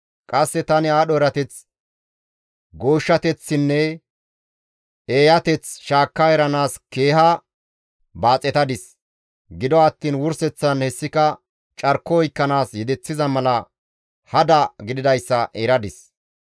Qasse tani aadho erateth, gooshshateththinne eeyateth shaakka eranaas keeha baaxetadis; gido attiin wurseththan hessika carko oykkanaas yedeththiza mala hada gididayssa eradis.